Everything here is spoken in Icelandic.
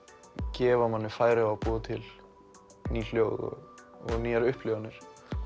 gefa manni færi á að búa til ný hljóð og nýjar upplifanir